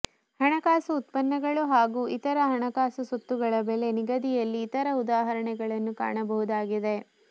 ಹಣಕಾಸು ಉತ್ಪನ್ನಗಳು ಮತ್ತು ಇತರ ಹಣಕಾಸು ಸೊತ್ತುಗಳ ಬೆಲೆ ನಿಗದಿಯಲ್ಲಿ ಇತರ ಉದಾಹರಣೆಗಳನ್ನು ಕಾಣಬಹುದಾಗಿದೆ